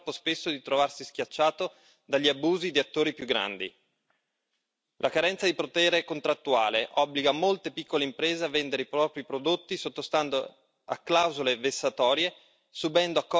La carenza di potere contrattuale obbliga molte piccole imprese a vendere i propri prodotti sottostando a clausole vessatorie, subendo accordi economici che impoveriscono e accollandosi costi e rischi di impresa altrui.